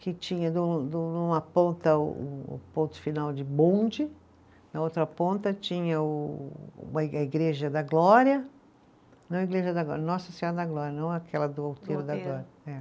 Que tinha de um, de um, uma ponta o o ponto final de bonde, na outra ponta tinha o, a Igreja da Glória, não a Igreja da Glória, Nossa Senhora da Glória, não aquela do da Glória. É.